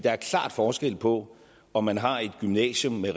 er klar forskel på om man har et gymnasium med